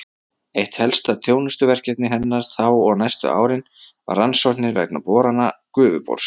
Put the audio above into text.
Eitt helsta þjónustuverkefni hennar þá og næstu árin var rannsóknir vegna borana Gufubors.